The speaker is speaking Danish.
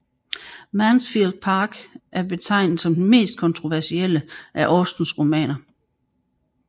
Mansfield Park er betegnet som den mest kontroversielle af Austens romaner